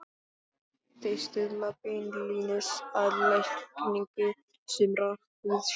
Þau stuðla beinlínis að lækningu sumra húðsjúkdóma.